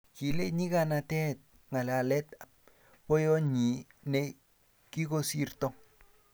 kile nyikanatet ka ngalalet ab boyonyi ne kikosirto